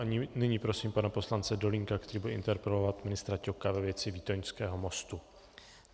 A nyní prosím pana poslance Dolínka, který bude interpelovat ministra Ťoka ve věci výtoňského mostu.